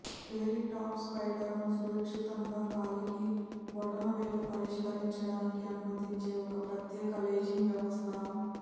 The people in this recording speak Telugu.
స్పెరీ టాప్ సైడర్ను సురక్షితంగా కాలికి బొటనవేలు పరిష్కరించడానికి అనుమతించే ఒక ప్రత్యేక లేజింగ్ వ్యవస్థ